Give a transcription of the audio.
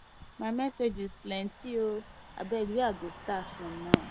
my messages plenty oo abeg where i go start from now